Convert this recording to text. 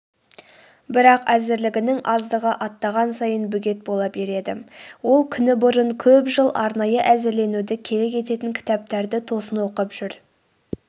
бірақ әзірлігінің аздығы аттаған сайын бөгет бола береді ол күні бұрын көп жыл арнайы әзірленуді керек ететін кітаптарды тосын оқып жүр